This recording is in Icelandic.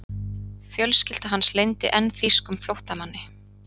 Fjölskylda hans leyndi enn þýskum flóttamanni.